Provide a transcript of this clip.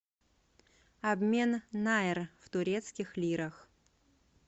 обмен найр в турецких лирах